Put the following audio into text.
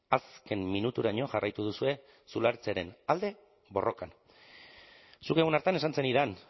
azken minuturaino jarraitu duzue zulatzearen alde borrokan zuk egun hartan esan zenidan